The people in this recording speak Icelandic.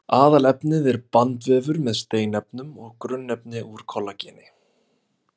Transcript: Aðalefnið er bandvefur með steinefnum og grunnefni úr kollageni.